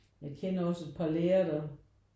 Jeg kender også et par lærere der